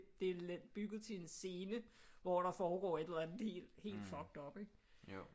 Det er bygget til en scene hvor der foregår et eller andet helt fucked up ikke